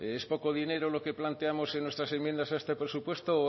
es poco dinero lo que planteamos en nuestras enmiendas a este presupuesto